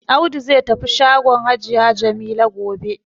Audu zai tafi shagon hajiya Jamila gobe.